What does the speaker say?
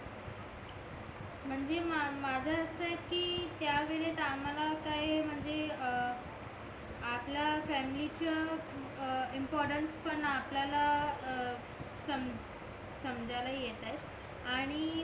म्हणजे माझं असा आहे कि त्या वेळेस आम्हाला काय म्हणजे अं आपल्या फॅमिलीच इम्पॉर्टन्स पण आपल्याला अं समझायला येत आहे